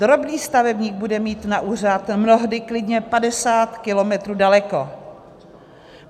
Drobný stavebník bude mít na úřad mnohdy klidně 50 kilometrů daleko.